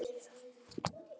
Spyr þá Ásgeir.